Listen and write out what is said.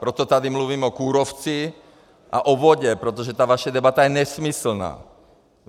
Proto tady mluvím o kůrovci a o vodě, protože ta vaše debata je nesmyslná.